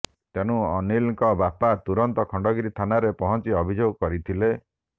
ତେଣୁ ଅନୀଲଙ୍କ ବାପା ତୁରନ୍ତ ଖଣ୍ଡଗିରି ଥାନାରେ ପହଞ୍ଚି ଅଭିଯୋଗ କରିଥିଲେ